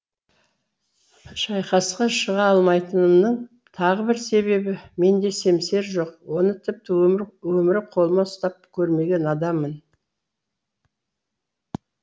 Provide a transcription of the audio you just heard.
шайқасқа шыға алмайтынымның тағы бір себебі менде семсер жоқ оны тіпті өмірі қолыма ұстап көрмеген адаммын